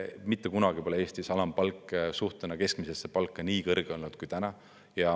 Mitte kunagi pole Eestis alampalk suhtena keskmisesse palka nii kõrge olnud kui täna.